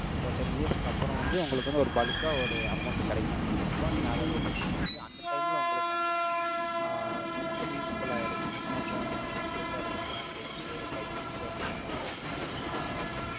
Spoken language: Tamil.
ten years க்கு அப்புறம் வந்து, உங்களுக்கு வந்து, ஒரு bulk ஆ, ஒரு amount கிடைக்கும், அப்படிங்கிறப்போ, நீங்க, அதை வச்சு, நீங்க வந்து, அந்த time ல, உங்களுக்கு வந்து, ஆஹ் உங்களுக்கு வந்து, useful ஆ இருக்கும். ஏன்னா, இப்போ, young age ஆ இருக்கனால, உங்களுக்கு வந்து, ஒரு five years லயே உங்களுக்கு வந்து, ஆஹ்